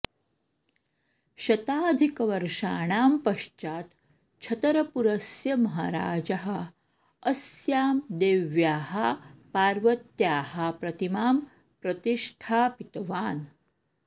शताधिकवर्षाणां पश्चात् छतरपुरस्य महाराजः अस्यां देव्याः पार्वत्याः प्रतिमां प्रतिष्ठापितवान्